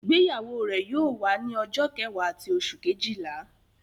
Igbeyawo re yóò wa ni ọjọ kẹwa ti oṣu kejila